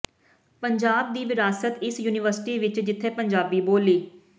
ਪੰਜਾਬ ਦੀ ਵਿਰਾਸਤ ਇਸ ਯੂਨੀਵਰਸਿਟੀ ਵਿਚ ਜਿੱਥੇ ਪੰਜਾਬੀ ਬੋਲੀ